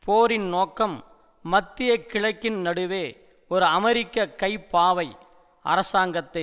போரின் நோக்கம் மத்திய கிழக்கின் நடுவே ஒரு அமெரிக்க கைப்பாவை அரசாங்கத்தை